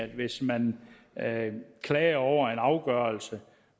hvis man klager over en afgørelse